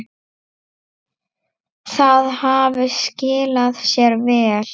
Það hafi skilað sér vel.